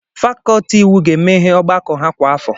Fakọlti iwu ga-enwe ọgbakọ ha kwa afọ.